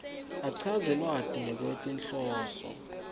achaze lwati ngekwetinhloso